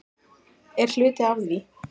Er hluti af því?